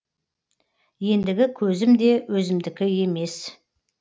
ендігі көзім де өзімдікі емес